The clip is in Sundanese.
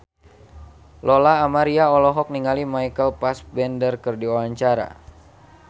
Lola Amaria olohok ningali Michael Fassbender keur diwawancara